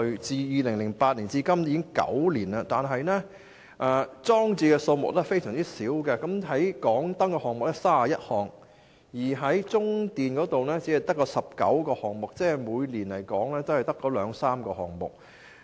自2008年至今已9年，但裝置的數量非常少，例如港燈有31個項目，中電也只有19個項目，即每年只有兩三個項目。